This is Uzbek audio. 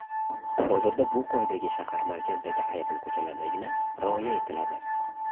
Hozirda bu qoidaga shahar markazidagi ayrim ko‘chalardagina rioya etiladi.